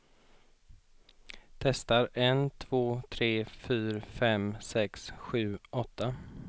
Testar en två tre fyra fem sex sju åtta.